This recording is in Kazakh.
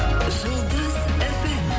жұлдыз фм